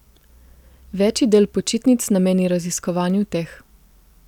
Večji del počitnic nameni raziskovanju teh.